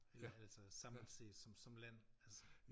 End altså samlet set som som land altså